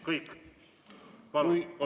Palun, kolm minutit!